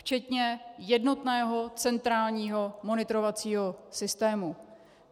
Včetně jednotného centrálního monitorovacího systému.